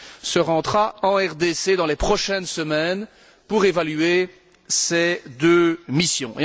se rendra en RDC dans les prochaines semaines pour évaluer ces deux missions.